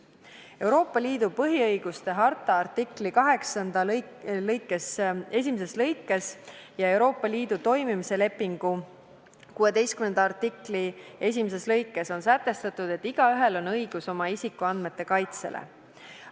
Euroopa Liidu põhiõiguste harta 8. artikli esimeses lõikes ja Euroopa Liidu toimimise lepingu 16. artikli esimeses lõikes on sätestatud, et igaühel on õigus oma isikuandmete kaitsele.